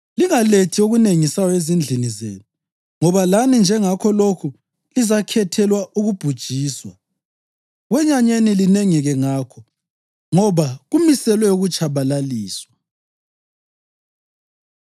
Lingalethi okunengisayo ezindlini zenu, ngoba lani njengakho lokho lizakhethelwa ukubhujiswa. Kwenyanyeni linengeke ngakho, ngoba kumiselwe ukutshabalaliswa.”